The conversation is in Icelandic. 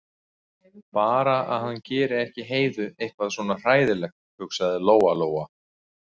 Bara að hann geri ekki Heiðu eitthvað svona hræðilegt, hugsaði Lóa-Lóa.